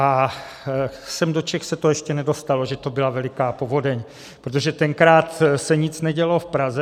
A sem do Čech se to ještě nedostalo, že to byla veliká povodeň, protože tenkrát se nic nedělo v Praze.